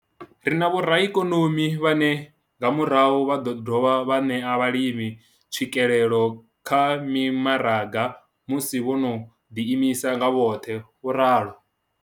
Ri na vhoraikonomi vhane nga murahu vha ḓo dovha vha ṋea vhalimi tswikelelo kha mimaraga musi vho no ḓiimisa nga vhoṱhe, vho ralo.